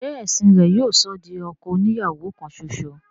ṣe ẹ̀sìn rẹ̀ yóò sọ ọ́ di ọkọ oni ìyàwó kan ṣoṣo?